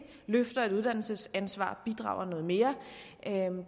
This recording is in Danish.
løfter et uddannelsesansvar bidrager noget mere